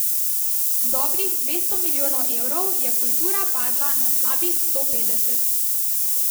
Z dobrih dvesto milijonov evrov je kultura padla na slabih sto petdeset.